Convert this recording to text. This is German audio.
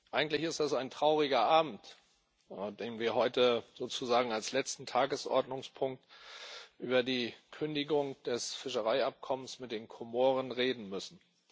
Eigentlich ist das ein trauriger Abend, wenn wir heute als letzten Tagesordnungspunkt über die Kündigung des Fischereiabkommens mit den Komoren reden müssen.